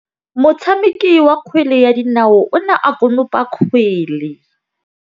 Motshameki wa kgwele ya dinaô o ne a konopa kgwele.